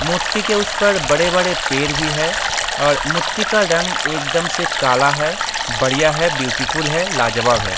मूर्ति के उस पर बड़े-बड़े पेड़ भी हैं और मूर्ति का रंग एकदम से काला है बढ़िया है ब्यूटीफुल है लाजवाब है।